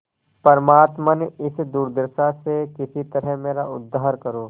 परमात्मन इस दुर्दशा से किसी तरह मेरा उद्धार करो